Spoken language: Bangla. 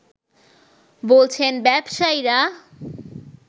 বলছেন ব্যবসায়ীরা